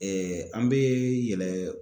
an be yɛlɛ.